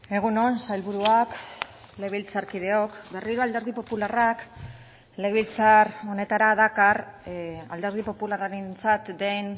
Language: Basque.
egun on sailburuak legebiltzarkideok berriro alderdi popularrak legebiltzar honetara dakar alderdi popularrarentzat den